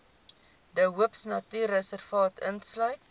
de hoopnatuurreservaat insluit